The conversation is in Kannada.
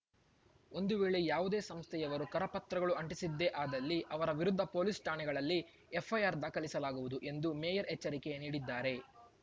ಒಂದು ವೇಳೆ ಯಾವುದೇ ಸಂಸ್ಥೆಯವರು ಕರಪತ್ರಗಳು ಅಂಟಿಸಿದ್ದೇ ಆದಲ್ಲಿ ಅವರ ವಿರುದ್ಧ ಪೊಲೀಸ್ ಠಾಣೆಗಳಲ್ಲಿ ಎಫ್‌ಐಆರ್ ದಾಖಲಿಸಲಾಗುವುದು ಎಂದು ಮೇಯರ್ ಎಚ್ಚರಿಕೆ ನೀಡಿದ್ದಾರೆ